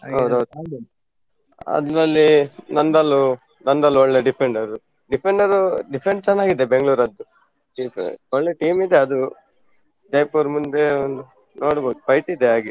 ಹೌದೌದು. ಅದ್ರಲ್ಲಿ ನಂದಲ್ ನಂದಲ್ ಒಳ್ಳೆ defender difender defend , ಚೆನ್ನಾಗಿದೆ Bengaluru ಅದ್ದು. ಒಳ್ಳೆ team ಇದೆ ಅದು Jaipur ಮುಂದೆ ಒಂದು ನೋಡ್ಬೋದು fight ಇದೆ ಹಾಗೆ.